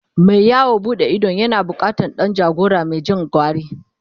Mai yawon buɗe idon yana bukatan Dan jagora Mai Jin gwari